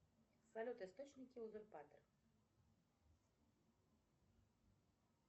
салют источники узурпатор